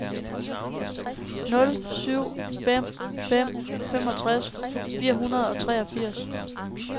nul syv fem fem femogtres fire hundrede og treogfirs